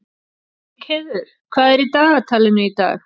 Lyngheiður, hvað er í dagatalinu í dag?